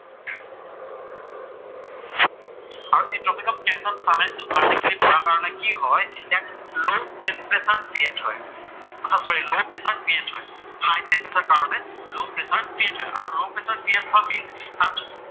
আৰু এই tropic of ট্ৰেনচাৰত ছান ৰাইজ টো ভাৰ্টিকেলি পৰাৰ কাৰণে কি হয়, লʼ ট্ৰেমপ্ৰেছাৰ ক্ৰিয়েট হয়, অহা চৰী লʼ প্ৰেচাৰ ক্ৰিয়েট হয়। হাইট্ৰেমপ্ৰেচাৰ কাৰণে লʼ প্ৰেচাৰ ক্ৰিয়েট হয়। আৰু লʼ ক্ৰিয়েট হোৱাৰ মিনচ্ ছান